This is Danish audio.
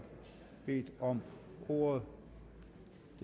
bedt om ordet